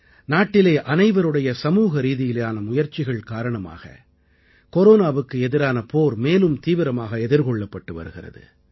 நாட்டிலே அனைவருடைய சமூகரீதியிலான முயற்சிகள் காரணமாக கொரோனாவுக்கு எதிரான போர் மேலும் தீவிரமாக எதிர்கொள்ளப்பட்டு வருகிறது